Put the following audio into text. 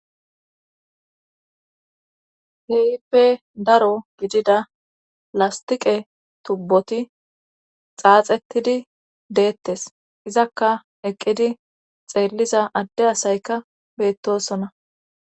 Kehippe daro gidida lastiqe tubboti xaaxettidi deettes izakka eqqidi xeelliza adde asayka beettosona